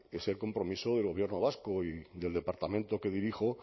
es el compromiso del gobierno vasco y del departamento que dirijo